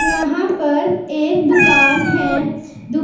यहां पर एक दुकान है दु--